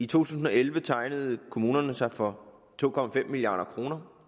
tusind og elleve tegnede kommunerne sig for to milliard kroner